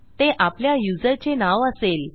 ते आपल्या युजरचे नाव असेल